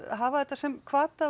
hafa þetta sem hvata og